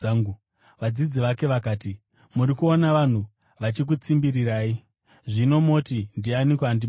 Vadzidzi vake vakati, “Muri kuona vanhu vachikutsimbirirai, zvino moti, ‘Ndianiko andibata?’ ”